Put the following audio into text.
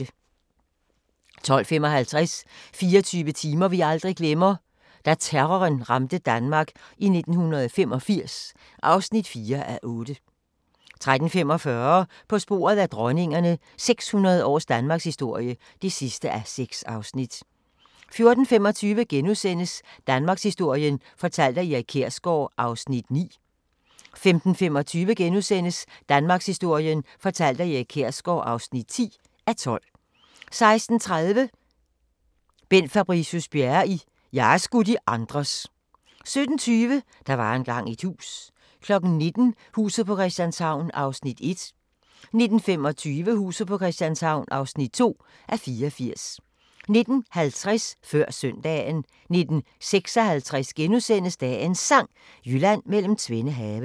12:55: 24 timer vi aldrig glemmer: Da terroren ramte Danmark i 1985 (4:8) 13:45: På sporet af dronningerne – 600 års danmarkshistorie (6:6) 14:25: Danmarkshistorien fortalt af Erik Kjersgaard (9:12)* 15:25: Danmarkshistorien fortalt af Erik Kjersgaard (10:12)* 16:30: Bent Fabricius-Bjerre i "Jeg er sgu de andres" 17:20: Der var engang et hus 19:00: Huset på Christianshavn (1:84) 19:25: Huset på Christianshavn (2:84) 19:50: Før Søndagen 19:56: Dagens Sang: Jylland mellem tvende have *